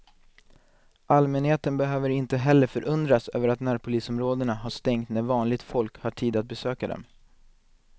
Allmänheten behöver inte heller förundras över att närpolisområdena har stängt när vanligt folk har tid att besöka dem.